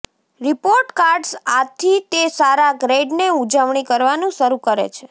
report cards આથી તે સારા ગ્રેડને ઉજવણી કરવાનું શરૂ કરે છે